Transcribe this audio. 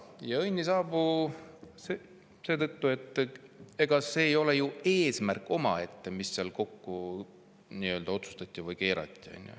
Ja õnn ei saabu seetõttu, et see ei ole ju eesmärk omaette, mis seal otsustati või nii-öelda kokku keerati.